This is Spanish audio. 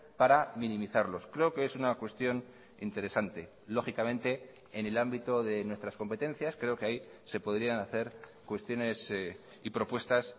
para minimizarlos creo que es una cuestión interesante lógicamente en el ámbito de nuestras competencias creo que ahí se podrían hacer cuestiones y propuestas